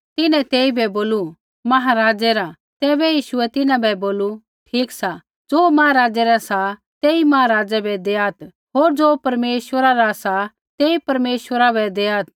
तिन्हैं तेइबै बोलू महाराज़ै रा तैबै यीशुऐ तिन्हां बै बोलू ठीक सा ज़ो महाराज़ै रा सा तेई महाराज़ै बै दैआत् होर ज़ो परमेश्वरा रा सा तेई परमेश्वरा बै दैआत्